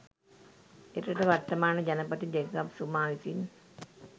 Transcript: එරට වර්තමාන ජනපති ජෙකබ් සුමා විසින්